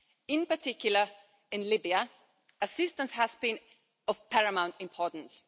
In particular, in Libya, assistance has been of paramount importance.